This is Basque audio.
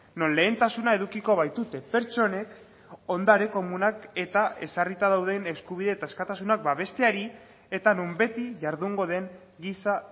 non lehentasuna edukiko baitute pertsonek ondare komunak eta ezarrita dauden eskubide eta askatasunak babesteari eta non beti jardungo den giza